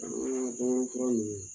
Fari ŋaɲa ko fura nunnu